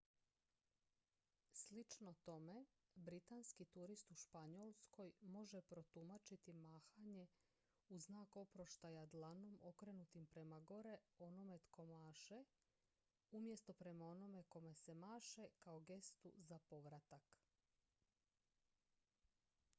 slično tome britanski turist u španjolskoj može protumačiti mahanje u znak oproštaja dlanom okrenutim prema onome tko maše umjesto prema onome kome se maše kao gestu za povratak